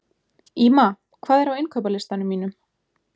Ýma, hvað er á innkaupalistanum mínum?